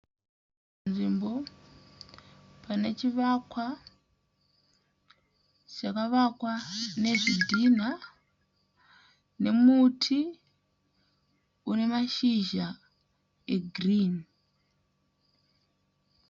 Nzvimbo pane chivakwa chakavakwa nezvidhinha nemuti une mashizha egirinhi.